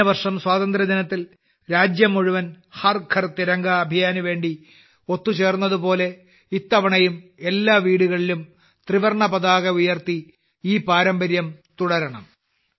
കഴിഞ്ഞ വർഷം സ്വാതന്ത്ര്യ ദിനത്തിൽ രാജ്യം മുഴുവൻ ഹർ ഘർ തിരംഗ അഭിയാൻനിനുവേണ്ടി ഒത്തുചേർന്നതുപോലെ ഇത്തവണയും എല്ലാ വീടുകളിലും ത്രിവർണ്ണ പതാക ഉയർത്തി ഈ പാരമ്പര്യം തുടരണം